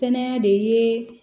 Kɛnɛya de ye